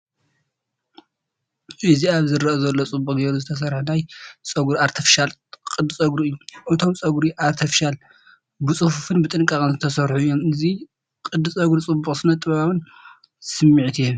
እዚ ኣብ ዝርአ ዘሎ ጽቡቕ ጌሩ ዝተሰርሐ ናይ ፀጉሪ ኣርቴፍሻል ቅዲ ጸጉሪ እዩ፣ እቶም ፀጉሪ ኣርቴፍሻል ብጽፉፍን ብጥንቃቐን ዝተሰርሑ እዮም። እዚ ቅዲ ጸጉሪ ጽቡቕን ስነ-ጥበባዊን ስምዒት ይህብ።